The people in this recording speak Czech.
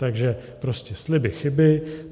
Takže prostě sliby chyby.